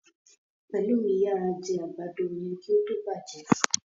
Pelumi yara jé àgbàdo yén kí ó tó bàjé.